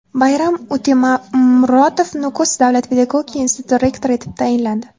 Bayram Utemuratov Nukus davlat pedagogika instituti rektori etib tayinlandi.